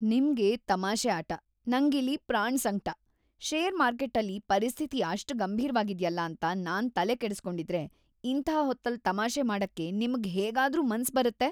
ನಿಮ್ಗೆ ತಮಾಷೆ ಆಟ, ನಂಗಿಲ್ಲಿ ಪ್ರಾಣ್‌ಸಂಕ್ಟ. ಷೇರ್‌ ಮಾರ್ಕೆಟ್ಟಲ್ಲಿ ಪರಿಸ್ಥಿತಿ ಅಷ್ಟ್‌ ಗಂಭೀರ್ವಾಗಿದ್ಯಲ್ಲ ಅಂತ ನಾನ್‌ ತಲೆಕೆಡುಸ್ಕೊಂಡಿದ್ರೆ ಇಂಥ ಹೊತ್ತಲ್ಲ್‌ ತಮಾಷೆ ಮಾಡಕ್ಕೆ ನಿಮ್ಗ್‌ ಹೇಗಾದ್ರೂ ಮನ್ಸ್‌ ಬರತ್ತೆ?!